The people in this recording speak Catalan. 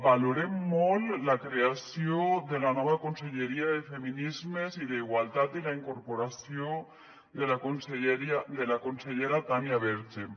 valorem molt la creació de la nova conselleria de feminismes i d’igualtat i la incorporació de la consellera tània verge